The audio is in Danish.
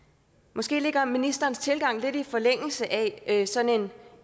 måske ligger ministerens tilgang lidt i forlængelse af sådan en